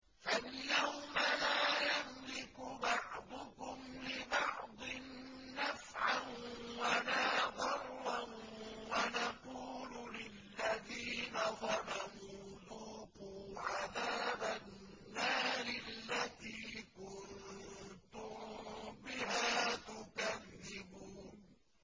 فَالْيَوْمَ لَا يَمْلِكُ بَعْضُكُمْ لِبَعْضٍ نَّفْعًا وَلَا ضَرًّا وَنَقُولُ لِلَّذِينَ ظَلَمُوا ذُوقُوا عَذَابَ النَّارِ الَّتِي كُنتُم بِهَا تُكَذِّبُونَ